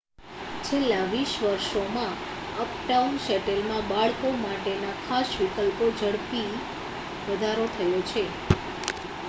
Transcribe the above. છેલ્લા 20 વર્ષોમાં અપટાઉન શેલેટમાં બાળકો માટેના ખાસ વિકલ્પોમાં ઝડપી વધારો થયો છે